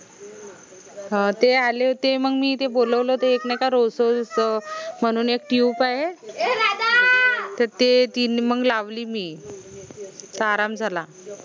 हं ते आले होते मंग मी ते बोलावलं ते एक नाई का म्हनून एक tube आहे त ते मंग लावली मी त आराम झाला